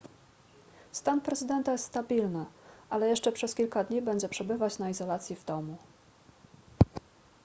stan prezydenta jest stabilny ale jeszcze przez kilka dni będzie przebywać na izolacji w domu